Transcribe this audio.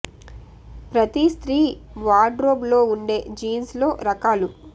ప్రతి స్త్రీ wardrobe లో ఉండే జీన్స్ లో రకాలు